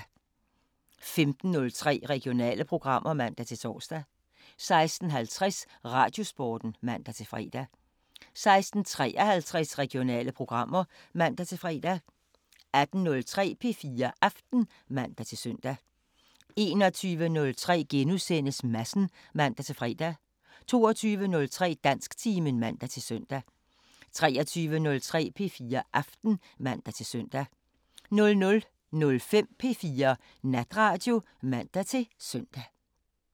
15:03: Regionale programmer (man-tor) 16:50: Radiosporten (man-fre) 16:53: Regionale programmer (man-fre) 18:03: P4 Aften (man-søn) 21:03: Madsen *(man-fre) 22:03: Dansktimen (man-søn) 23:03: P4 Aften (man-søn) 00:05: P4 Natradio (man-søn)